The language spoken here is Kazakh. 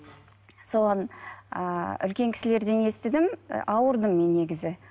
соған ыыы үлкен кісілерден естідім ы ауырдым мен негізі